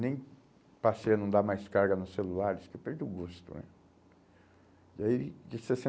Nem passei a não dar mais carga nos celulares, porque eu perdi o gosto né. E aí, disse assim